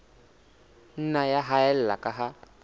nna ya haella ka ha